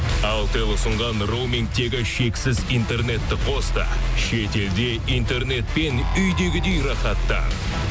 алтел ұсынған роумингтегі шексіз интернетті қос та шетелде интернетпен үйдегідей рахаттан